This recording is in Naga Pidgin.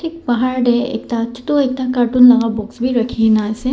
bahar teh ekta chutu ekta cartoon laga box bi rakhihena ase.